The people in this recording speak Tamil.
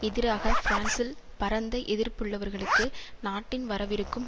எதிராக பிரான்சில் பரந்த எதிர்ப்புள்ளவர்களுக்கு நாட்டின் வரவிருக்கும்